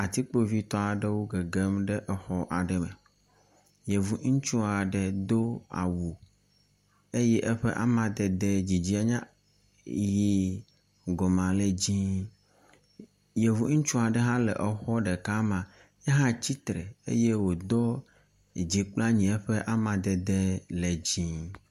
Atikpovitɔ aɖewo gegem ɖe exɔ aɖe me yevu ŋutsuaɖe dó awu eye eƒe amadede dzidzie nye yi gɔmea le dzɛ̃ yevu ŋutsu aɖe hã le exɔ ɖeka mea yehã tsitsre eye wodó dzi kple anyi eƒe amadede le dzĩ